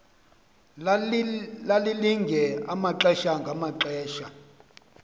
lalilinge amaxesha ngamaxesha